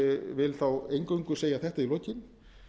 vil þá eingöngu segja þetta í lokin